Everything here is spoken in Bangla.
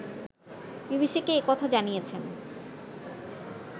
বিবিসিকে একথা জানিয়েছেন